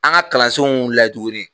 An ka kalansenw wulila tuguni